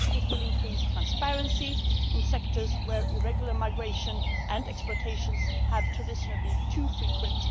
it will increase transparency in sectors where irregular migration and exploitation have traditionally been too frequent